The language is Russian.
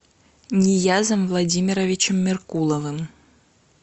ниязом владимировичем меркуловым